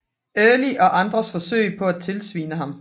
Early og andres forsøg på at tilsvine ham